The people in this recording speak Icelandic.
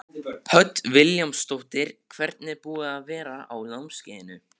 Hödd Vilhjálmsdóttir: Hvernig er búið að vera á námskeiðinu?